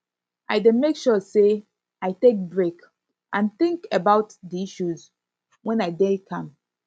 i dey make sure say i take break and think about di issues when i dey calm